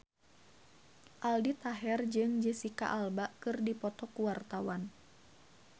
Aldi Taher jeung Jesicca Alba keur dipoto ku wartawan